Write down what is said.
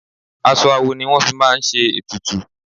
Aṣọ awo ni wọ́n fi máa ń ṣe ètùtù.